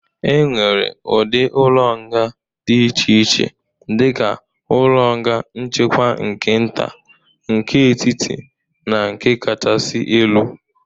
E nwere ụdị ụlọ nga dịd iche iche dịka ụlọ nga nchekwa nke nta, nke etiti na nke kachasị elu.